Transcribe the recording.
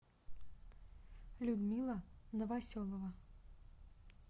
людмила новоселова